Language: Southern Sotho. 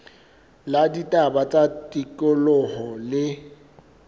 la ditaba tsa tikoloho le